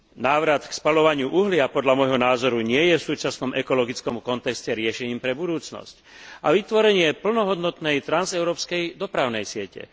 Návrat k spaľovaniu uhlia podľa môjho názoru nie je v súčasnom ekologickom kontexte riešením pre budúcnosť a vytvorenie plnohodnotnej transeurópskej dopravnej siete.